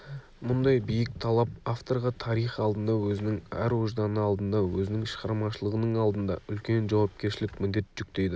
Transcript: мұндай биік талап авторға тарих алдында өзінің ар-ожданы алдында өзінің шығармашылығының алдында үлкен жауапкершілік міндет жүктейді